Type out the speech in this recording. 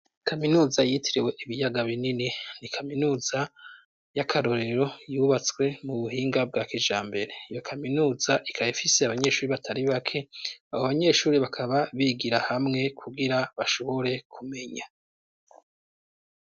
Kaminuza yitirewe ibiyaga binini ni kaminuza y'akarorero yubatswe mu buhinga bwa kijambere iyo kaminuza ikaba ifise abanyeshuri batari bake abo banyeshuri bakaba bigira hamwe kugira bashobore kumenya.